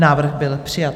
Návrh byl přijat.